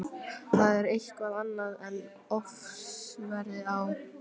Það er eitthvað annað en ofsaveðrið á